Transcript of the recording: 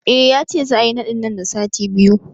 Eh, yace za'a yi naɗin nan da sati biyu